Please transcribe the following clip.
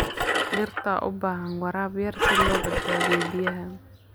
Dhirta dhirta u baahan waraab yar si loo badbaadiyo biyaha.